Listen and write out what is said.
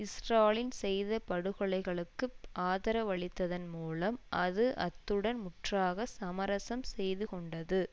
Stalin செய்த படுகொலைகளுக்கு ஆதரவளித்ததன் மூலம் அது அத்துடன் முற்றாக சமரசம் செய்துகொண்டது